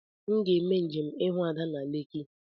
Aga m eme njem ihu Ada na Lekki..